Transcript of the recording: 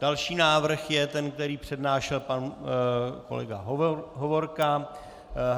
Další návrh je ten, který přednášel pan kolega Hovorka.